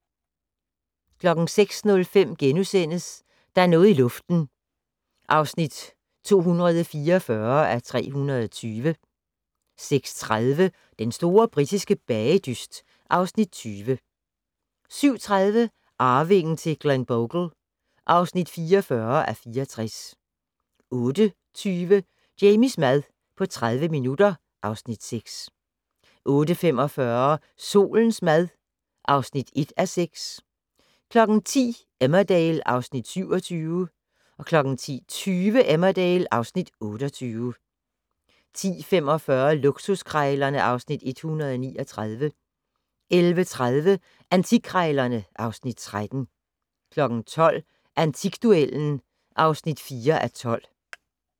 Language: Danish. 06:05: Der er noget i luften (244:320)* 06:30: Den store britiske bagedyst (Afs. 20) 07:30: Arvingen til Glenbogle (44:64) 08:20: Jamies mad på 30 minutter (Afs. 6) 08:45: Solens mad (1:6) 10:00: Emmerdale (Afs. 27) 10:20: Emmerdale (Afs. 28) 10:45: Luksuskrejlerne (Afs. 139) 11:30: Antikkrejlerne (Afs. 13) 12:00: Antikduellen (4:12)